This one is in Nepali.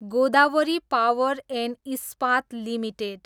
Godavari power and Ispat limited